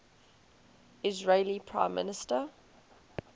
israeli prime minister